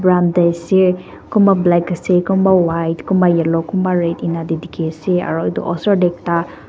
amta se kumba black ase kumba white kumba yellow kumba red anaa te dekhi ase aro osor te ekta.